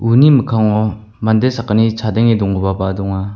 uni mikkango mande sakgni chadenge donggipaba donga.